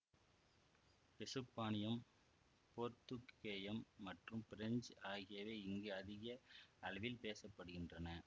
எசுப்பானியம் போர்த்துக்கேயம் மற்றும் பிரெஞ்ச் ஆகியவை இங்கு அதிக அளவில் பேச படுகின்றன